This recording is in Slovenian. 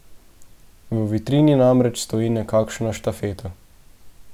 V vitrini namreč stoji nekakšna štafeta.